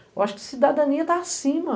Eu acho que cidadania está acima.